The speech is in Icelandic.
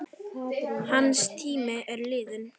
Hans tími er liðinn.